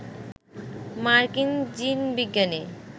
মার্কিন জিনবিজ্ঞানী